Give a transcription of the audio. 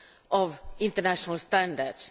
of international standards.